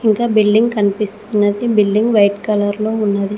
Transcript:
ఇంకా బిల్డింగ్ కనిపిస్తున్నది building white colour లో ఉన్నది.